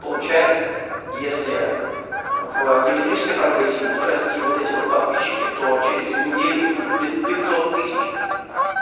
получается если в геометрической прогрессии будут расти вот эти вот подписчики то через неделю их будет пятьсот тысяч